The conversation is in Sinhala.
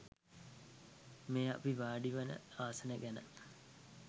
මේ අපි වාඩිවෙන ආසනය ගැන